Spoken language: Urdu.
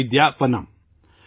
'ودیاونم'